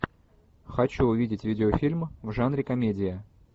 хочу увидеть видеофильм в жанре комедия